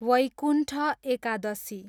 Vaikuntha Ekadashi